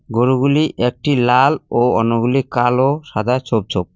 গরুগুলি একটি লাল ও অন্যগুলি কালো-সাদা ছোপ ছোপ।